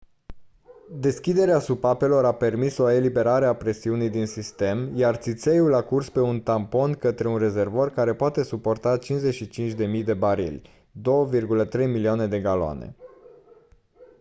deschiderea supapelor a permis o eliberare a presiunii din sistem iar țițeiul a curs pe un tampon către un rezervor care poate suporta 55.000 de barili 2.3 milioane de galoane